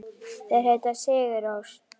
Þeir heita Sigur Rós.